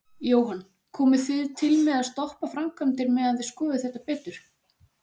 Jóhann: Komið þið til með að stoppa framkvæmdir meðan þið skoðið þetta betur?